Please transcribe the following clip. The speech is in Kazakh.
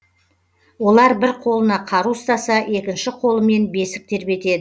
олар бір қолына қару ұстаса екінші қолымен бесік тербетеді